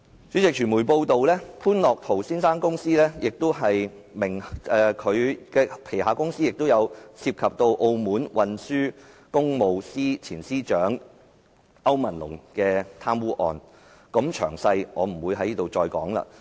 主席，傳媒報道，潘樂陶先生名下公司曾涉及澳門運輸工務司前司長歐文龍的貪污案，詳情不贅。